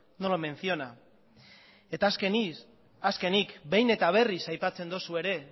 no lo menciona eta azkenik behin eta berriz aipatzen duzu ere